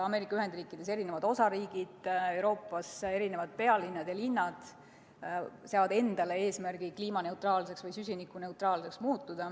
Ameerika Ühendriikides mõned osariigid ning Euroopas mõned pealinnad ja muud linnad seavad endale eesmärgi muutuda kliimaneutraalseks või süsinikuneutraalseks.